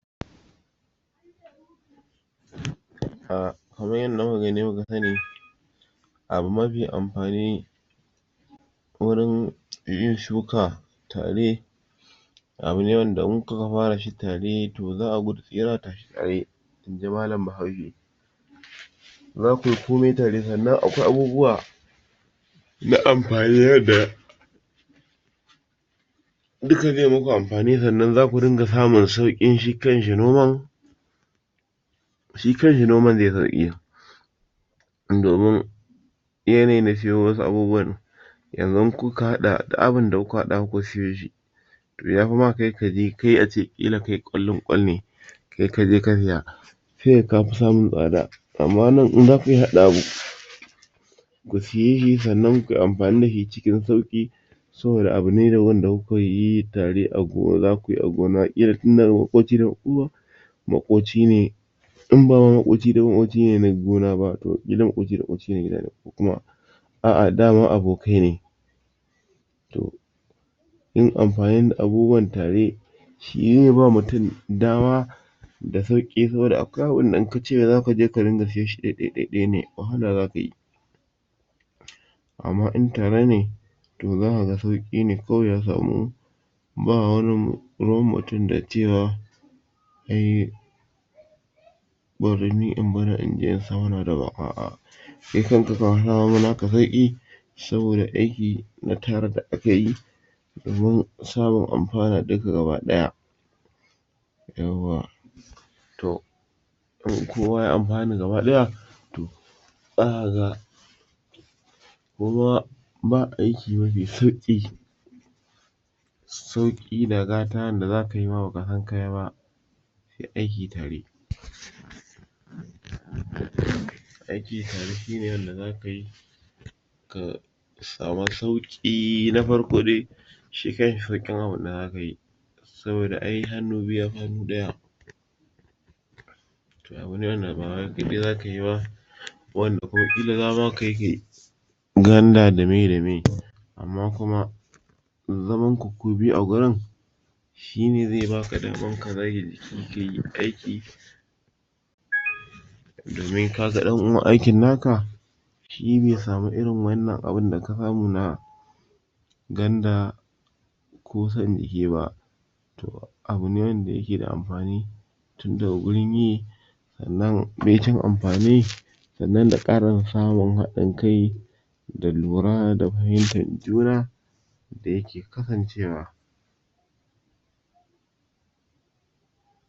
a kamar yanda muka gani muka sani abu mafi amfani gurin yin shuka tare abune wanda in kuka fara shi tare zaka ga yana tafiya ne zakuyi komai tare sannan akwai abubuwa na amfanin yanda duka ze muku amfani sannan zaku dinga samun shi kanshi noman shi kanshi noman ze sauƙi domin yanayi na cewa wasu abubuwan yanzun in kuka haɗa duk abun da aka haɗa kuka siyeshi to yafi ma kai kaje kai ace ƙila kai ƙwallin ƙwal ne kai kaje ka siya se kaga kafi samun tsada amma nan in zaka haɗa abu ka siye shi sanan kuyi amfani dashi cikin sauƙi saboda abu ne da wanda kuka yi tare kuma zakuyi a gona ƙila maƙoci ne kuma makocine inba ma maƙoci ne maƙoci ne na gona ne na kusa da gida ko kuma a'ah daman abokai ne to in amfanin da abubuwan tare shi zeba mutum dama da sauƙi kuma da akwai abunda in kace zaka ringa siyan shi ɗaiɗai ne wahala zaka yi amma in tare ne to zaka ga kawai sauƙi ne ya samu ba wani ruwan mutum da cewa ai bari ni in mana in se wannan daban a'ah kai kanka ka samo naka sauƙi saboda aiki na tare da akayi domin samun amfana duka gaba ɗaya yawwa to in kowa ya anfana gaba ɗaya to zakaga kuma ba aiki mafi sauki sauƙi da gata wanda zakayi ma bakasan kayi ba se aiki tare aiki tare shine wanda zaka yi ka sama sauƙi na farko dai shi kanshi sauƙin abune zakayi saboda ai hannu bitu yafi hannu ɗaya abu ne wanda ba kai kaɗai zaka yi ba wanda ko ƙila kai zakayi kai ganda da meye da meye amma kuma zamanku ku biyu a gurin shine ze baka daman ka zage kayi aiki domin kaga ɗan uwan aikin naka shi be samu irin wannan abu da ka samu na ganda ko san jiki ba to abu ne wanda yake da amfani tin daga gurin yi sannan baicin amfani sannan da ƙara samun haɗin kai da lura da fahimtar juna da yake kasan cewa